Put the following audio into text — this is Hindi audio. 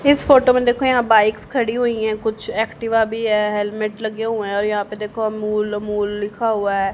इस फोटो मे देखो यहाँ बाइक्स खड़ी हुई है कुछ एक्टिवा भी है हेलमेट लगे हुए है और यहाँ पे देखो अमूल ओमुल लिखा हुआ है।